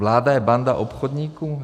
Vláda je banda obchodníků?